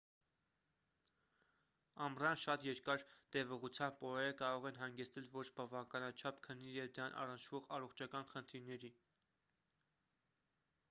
ամռան շատ երկար տևողությամբ օրերը կարող են հանգեցնել ոչ բավականաչափ քնի և դրան առնչվող առողջական խնդիրների